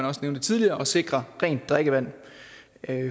også nævnte tidligere at sikre rent drikkevand